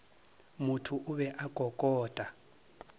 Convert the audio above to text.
motho o be a kokota